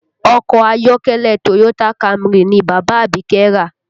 Ọkọ̀ ayọ́kẹ́lẹ́ Toyota Camry ni bàbá Abike rà